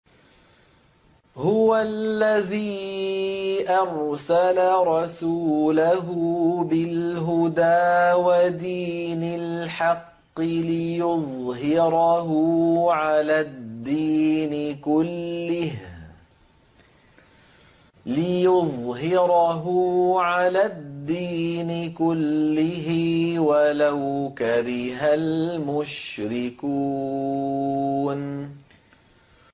هُوَ الَّذِي أَرْسَلَ رَسُولَهُ بِالْهُدَىٰ وَدِينِ الْحَقِّ لِيُظْهِرَهُ عَلَى الدِّينِ كُلِّهِ وَلَوْ كَرِهَ الْمُشْرِكُونَ